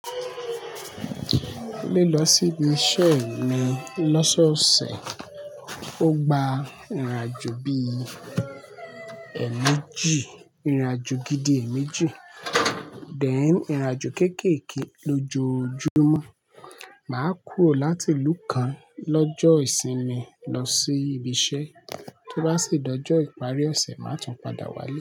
Lílọ sí ibi iṣẹ́ mi lọ́sọ̀ọ̀sẹ̀, ó gba ìrìnàjò bí i èmeejí, ìrìnàjò gidi èméjì, then, irìnàjò kéékèèké lójoójúmọ́. Màá kúrò láti ìlú kan lọ́jọ́ ìsinmi lọ sí ibi iṣẹ́, tó bá sì dojo ìparí ọ̀sẹ̀ má tun padà wálé.